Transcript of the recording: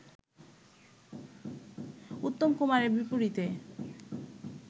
উত্তম কুমারের বিপরীতে